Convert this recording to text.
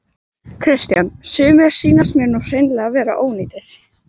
Kristján: Sumir sýnist mér nú hreinlega vera ónýtir?